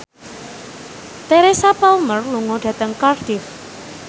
Teresa Palmer lunga dhateng Cardiff